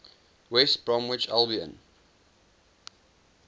west bromwich albion